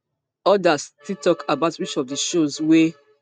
odas still tok about which of di shows wey